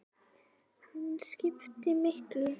Hann skiptir miklu.